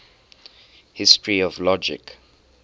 history of logic